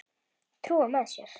Trúa með sér.